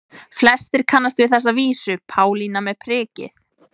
Flestir kannast við þessa vísu: Pálína með prikið